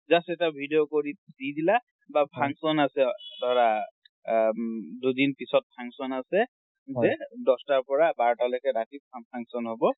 just এটা video কৰি দি দিলা। বা function আছে ধৰা আ দুদিন পিচত function আছে যে দহ'তা পৰা বাৰতালৈকে ৰাতি function হব।